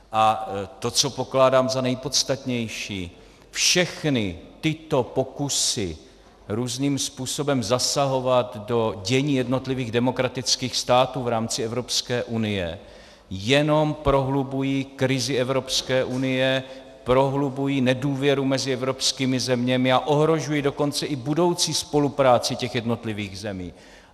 A to, co pokládám za nejpodstatnější: všechny tyto pokusy různým způsobem zasahovat do dění jednotlivých demokratických států v rámci Evropské unie jenom prohlubují krizi Evropské unie, prohlubují nedůvěru mezi evropskými zeměmi a ohrožují dokonce i budoucí spolupráci těch jednotlivých zemí.